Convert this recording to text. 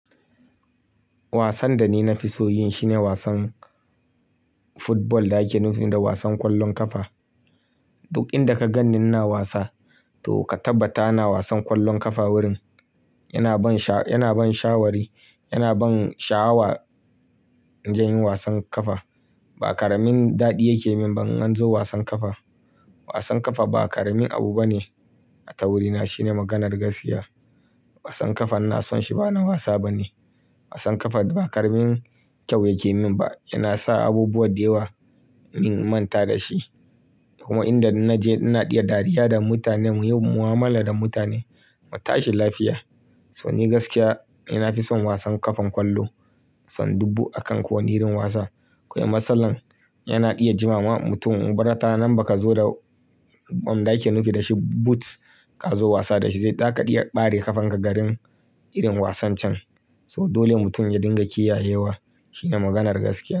Wasan da ni na fi so yin shi ne wasan football da ake nufi da wasan kwallon kafa. Duk inda ka gan ni na wasa to ka tabbata na wasan kwallon kafa wurin. Yana ban sha-- yana ban shawari, yana ban sha'awa in je yin wasan kafa. Ba ƙaramin daɗi yake min ba in an zo wasan kafa. Wasan kafa ba ƙaramin abu bane a tawurina, shine maganar gaskiya. Wasan kafa na son shi ba na wasa bane. Wasan kafa ba ƙaramin kyau yake min ba, yana sa abubuwa da yawa in manta da shi. Kuma inda na je ina iya dariya da mutane, muyi mu'amala da mutane, mu tashi lafiya. So ni gaskiya, ina fi son wasan ƙafan kwallo son dubu a kan kowane irin wasa. Kawai matsalar yana iya jima ma mutum ubarata nan ba ka zo da wanda ake nufi da shi boots ka zo wasa da shi zai taka iya ɓare ƙafanka garin irin wasan can. So dole mutum ya dinga kiyayewa shine maganar gaskiya.